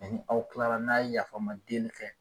aw kilara n'a ye yafama deeli